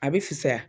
A bɛ fisaya